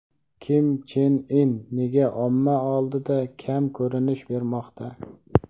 Kim Chen In nega omma oldida kam ko‘rinish bermoqda?.